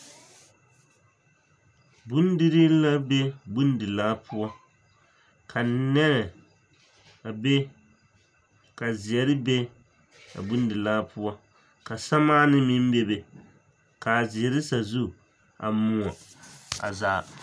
Bondirii la be bondilaa poɔ ka nɛmɛ be ka zeɛre be a bondilaa poɔ ka seremaanee be ka a zeɛre sazu moɔ a zaa.